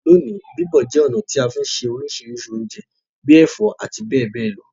Loní, bíbọ̀ je ọ̀nà ti a fi n se orísìrísì ounje bi ẹ̀fó àti béè béè lo